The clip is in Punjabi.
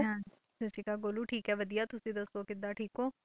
ਹਾਂ ਸਤਿ ਸ੍ਰੀ ਅਕਾਲ ਗੋਲੂ ਠੀਕ ਹੈ ਵਧੀਆ ਤੁਸੀਂ ਦੱਸੋ, ਕਿੱਦਾਂ ਠੀਕ ਹੋ?